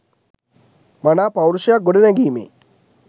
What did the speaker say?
මනා පෞරුෂයක් ගොඩනැගීමේ